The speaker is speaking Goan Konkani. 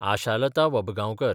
आशालता वबगांवकर